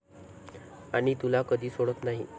आणि तुला कधी सोडत नाही.